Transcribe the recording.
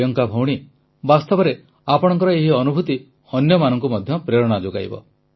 ପ୍ରିୟଙ୍କା ଜୀ ବାସ୍ତବରେ ଆପଣଙ୍କ ଏହି ଅନୁଭୂତି ଅନ୍ୟମାନଙ୍କୁ ମଧ୍ୟ ପ୍ରେରଣା ଯୋଗାଇବ